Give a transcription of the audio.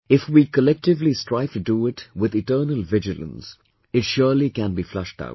If we collectively strive to do it with eternal vigilance , it surely can be flushed out